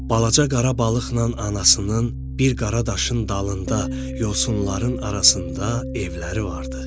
Balaca qara balıqla anasının bir qara daşın dalında yosunların arasında evləri vardı.